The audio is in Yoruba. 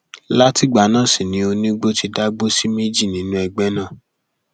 látìgbà náà sì ni onígbọ ti dàgbò sí méjì nínú ẹgbẹ náà